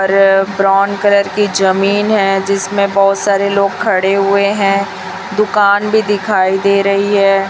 और brown colour की जमीन है जिसमें बहोत सारे लोग खड़े हुए हैं दुकान भी दिखाई दे रही है।